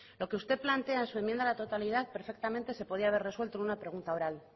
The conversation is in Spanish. lo que usted plantea en su enmienda a la totalidad perfectamente se podía haber resultado en una pregunta oral